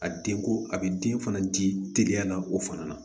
A den ko a bɛ den fana di teliya o fana na